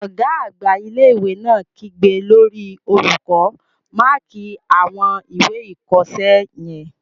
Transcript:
Ọ̀gá àgbà ilé-ìwé náà kígbe lórí olùkọ́, "máàkí àwọn ìwé ìkọsẹ́ yẹn!